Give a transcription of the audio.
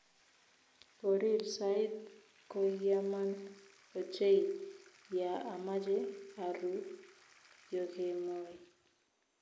Korir sait koiaman ochei ya amache aruu yokemoi